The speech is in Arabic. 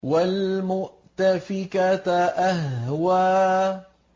وَالْمُؤْتَفِكَةَ أَهْوَىٰ